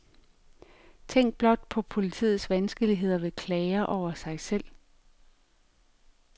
Tænk blot på politiets vanskeligheder ved klager over sig selv.